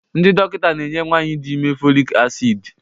ndị dọkịta na-enye nwanyị dị ime folic acid